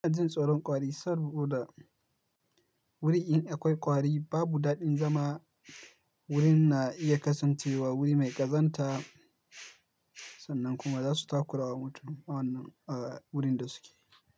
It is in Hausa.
Ina jin tsoron kwari saboda wurinda akwai kwari babu daɗin zama. Wurinna iya kasancewa wuri mai ƙazanta sannan kuma zasu takurawa mutum a wurin da suke.